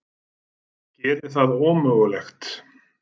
Gerði það ómögulegt.